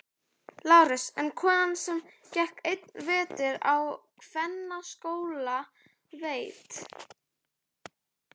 LÁRUS: En konan sem gekk einn vetur á kvennaskóla veit.